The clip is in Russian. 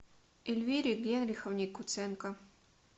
эльвире генриховне куценко